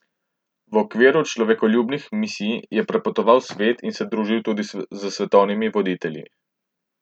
V okviru svojih človekoljubnih misij je prepotoval ves svet in se družil tudi s svetovnimi voditelji.